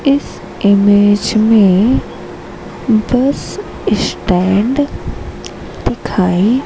इस इमेज में bus stand दिखाई--